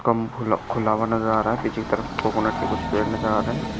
कम खुला खुला हुआ नजर आ रहा है पीछे की तरफ कोकोनट के कुछ पेड़ नजर आ रहे है।